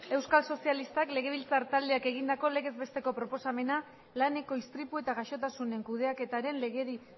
euskal sozialistak legebiltzar taldeak egindako legez besteko proposamena laneko istripu eta gaixotasunen kudeaketaren legedi